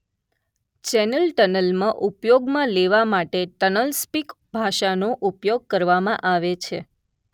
channel ટનલમાં ઉપયોગમાં લેવા માટે ટનલસ્પિક ભાષાનો ઉપયોગ કરવામાં આવે છે